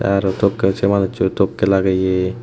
te araw tokkey se manusho tokkey lageye.